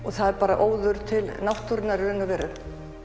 það er bara óður til náttúrunnar í raun og veru